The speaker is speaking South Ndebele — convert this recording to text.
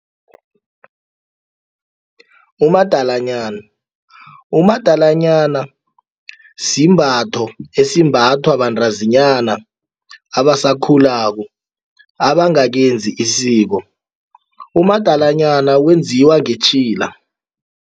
Umadalanyana, umadalanyana simbatho esimbathwa bantazinyana abasakhulako abangakenzi isiko umadalanyana wenziwa ngetjhila.